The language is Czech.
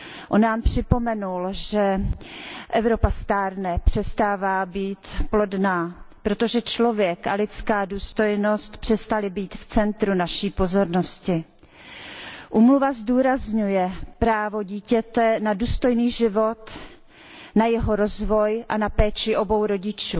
On nám připomenul, že Evropa stárne, přestává být plodná, protože člověk a lidská důstojnost přestali být v centru naší pozornosti. Úmluva zdůrazňuje právo dítěte na důstojný život, na jeho rozvoj a na péči obou rodičů.